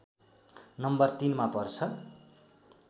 number ३ मा पर्छ